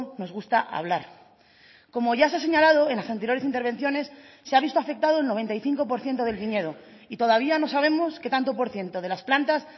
nos gusta hablar como ya se ha señalado en las anteriores intervenciones se ha visto afectado el noventa y cinco por ciento del viñedo y todavía no sabemos qué tanto por ciento de las plantas